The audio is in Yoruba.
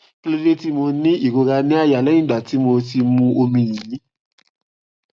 kí ló dé tí mo ní ìrora ní àyà lẹyìn tí mo ti mu omi yìnyín